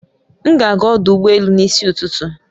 M ga ágá ọdụ ụgbọ elù n'isi ụtụtụ